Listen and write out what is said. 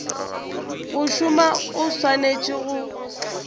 go šoma o swanetše go